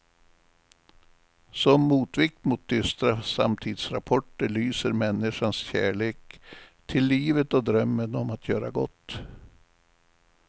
Som motvikt mot dystra samtidsrapporter lyser människans kärlek till livet och drömmen om att göra gott.